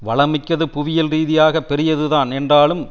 வளம் மிக்கது புவியியல் ரீதியாக பெரியது தான் என்றாலும்